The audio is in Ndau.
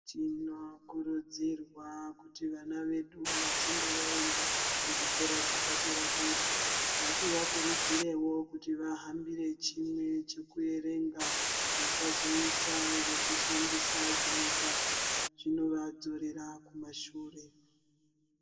Tinokurudzirwa kuti vana vedu vachinge vaenda kuzvikoro zvepadera-dera, ngativakurudzirewo kuti vahambire chimwe chekuerenga. Vasazoita zvekushandisa zvinodhaka, zvinovadzorera kumashure.